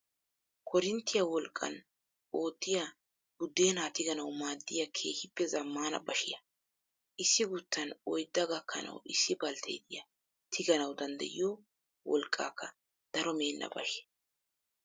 Koorinttiyaa wolqqan oottiyaa buddeenaa tiganawu maaddiyaa keehippe zammaana bashiyaa. Issi guttan oyidda gakkanawu issi baltteriya tiganawu danddayiyoo wolqqaaka daro meenna bashiyaa.